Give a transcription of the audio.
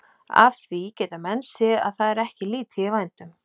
Af því geta menn séð að það er ekki lítið í vændum.